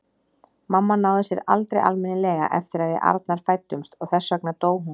Mamma náði sér aldrei almennilega eftir að við Arnar fæddumst og þess vegna dó hún.